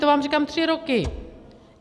To vám říkám tři roky!